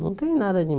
Não tem nada de